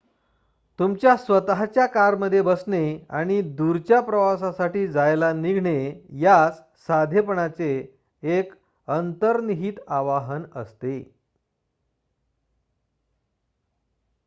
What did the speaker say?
तुमच्या स्वत:च्या कारमध्ये बसणे आणि दूरच्या प्रवासासाठी जायला निघणे यास साधेपणाचे एक अंतर्निहित आवाहन असते